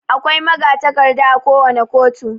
Akwai magatakarda akowane koto.